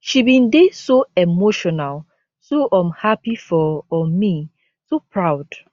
she bin dey so emotional so um happy for um me so proud